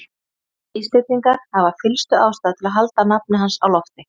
Íslendingar hafa fyllstu ástæðu til að halda nafni hans á lofti.